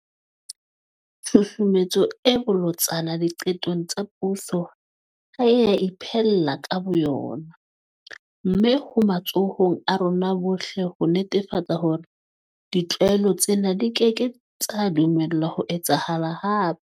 Tshusumetso e bolotsana diqetong tsa puso ha e a iphella ka bo yona. Mme ho matsohong a rona bohle ho netefatsa hore ditlwaelo tsena di keke tsa dumellwa ho etsahala hape.